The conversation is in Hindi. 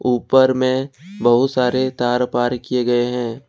ऊपर में बहुत सारे तार पार किए गए हैं।